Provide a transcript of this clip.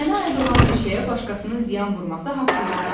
Mənə aid olan bir şeyə başqasının ziyan vurması haqsızlıqdır.